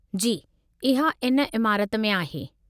जी, इहा इन इमारति में आहे।